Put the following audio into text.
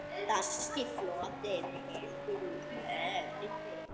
Danski flotinn heldur úr höfn!